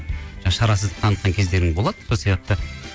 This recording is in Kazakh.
шарасыздық танытқан кездерің болады сол себепті